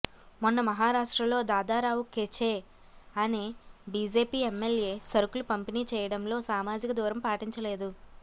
మొన్న మహారాష్ట్రలో దాదారావు కెచే అనే బీజేపీ ఎమ్మెల్యే సరుకులు పంపిణీ చేయడంలో సామాజిక దూరం పాటించలేదు